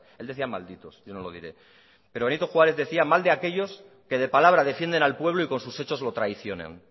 él decía malditos yo no lo diré pero benito juárez decía mal de aquellos que de palabra defienden al pueblo y con sus hechos lo traicionan